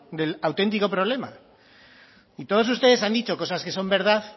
del auténtico problema y todos ustedes han dicho cosas que son verdad